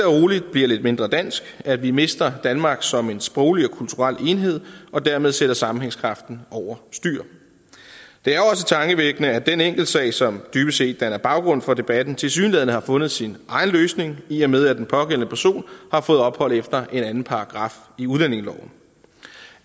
bliver lidt mindre dansk at vi mister danmark som en sproglig og kulturel enhed og dermed sætter sammenhængskraften over styr det er også tankevækkende at den enkeltsag som dybest set danner baggrund for debatten tilsyneladende har fundet sin egen løsning i og med at den pågældende person har fået ophold efter en anden paragraf i udlændingeloven